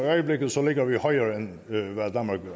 tallene